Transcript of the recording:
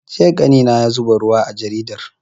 Jiya ƙanina ya zuba ruwa a jaridar